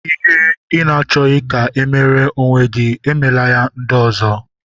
Ihe ị na-achọghị ka e meere onwe gị, emela ya ndị ọzọ.